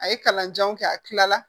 A ye kalan janw kɛ a kila la